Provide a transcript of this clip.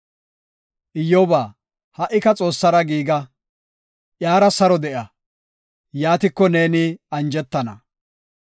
“Iyyoba, ha77ika Xoossara giiga; iyara saro de7a; yaatiko neeni anjetana.